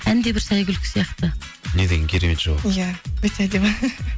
ән де бір сәйгүлік сияқты не деген керемет жауап ия өте әдемі